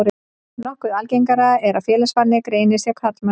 Nokkuð algengara er að félagsfælni greinist hjá karlmönnum.